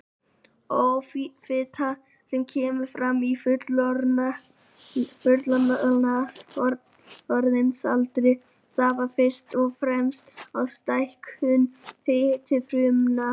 Offita sem kemur fram á fullorðinsaldri stafar fyrst og fremst af stækkun fitufrumna.